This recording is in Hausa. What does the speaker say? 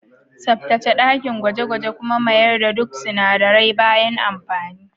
Tsaftace dakin gwaje-gwaje kuma mayar da duk sinadarai bayan amfani.